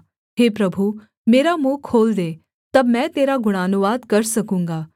हे प्रभु मेरा मुँह खोल दे तब मैं तेरा गुणानुवाद कर सकूँगा